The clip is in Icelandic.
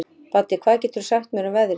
Baddi, hvað geturðu sagt mér um veðrið?